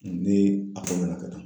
Ne ka taa